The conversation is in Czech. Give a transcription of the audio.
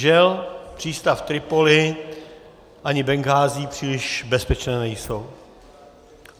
Žel přístav Tripolis ani Benghází příliš bezpečné nejsou.